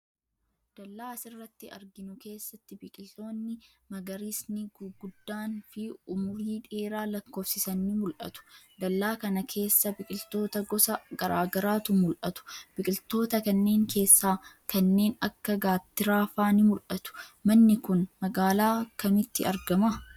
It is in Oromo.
Dallaa as irratti arginu keessatti, biqiloonni magariisni guguddaan fi umurii dheeraa lakkoofsisan ni mul'atu. Dallaa kana keessa biqiltuu gosa garaa garaatu mul'atu. Biqiltoota kanneen keessaa kanneen akka gaattiraa faa ni mul'atu. Manni kun, magaalaa kamitti argama?